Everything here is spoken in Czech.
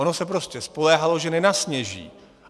Ono se prostě spoléhalo, že nenasněží.